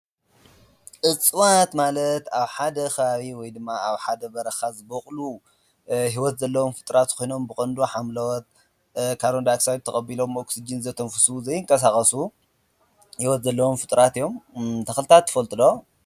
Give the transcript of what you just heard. እጽዋት ማለት ኣብ ሓደ ኸባቢ ወይ ድማ ኣብ ሓደ በረኻ ዝበቑሉ ሕይወት ዘለዎም ፍጥረታት ኮይኖም ብቖንዶ ሓምለዎት ካርንዳይ ኣክሳይድ ተቐቢሎም ኦክሲጅን ዘተንፍሱ ዘይንቀሳቐሱ ሕይወት ዘለዎም ፍጡራት እዮም፡፡ ተኽልታት ትፈልጡ ዶ?